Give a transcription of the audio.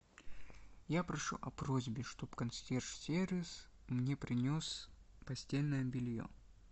я прошу о просьбе чтоб консьерж сервис мне принес постельное белье